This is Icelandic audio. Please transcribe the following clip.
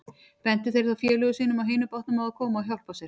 Bentu þeir þá félögum sínum á hinum bátnum að koma og hjálpa sér.